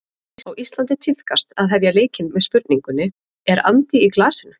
Á Íslandi tíðkast að hefja leikinn með spurningunni: Er andi í glasinu?